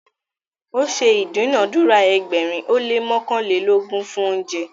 o ṣe idunadura ẹgbẹrin o le mọkanlelogun fún oúnjẹ